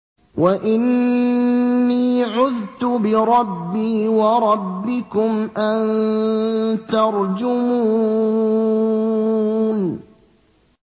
وَإِنِّي عُذْتُ بِرَبِّي وَرَبِّكُمْ أَن تَرْجُمُونِ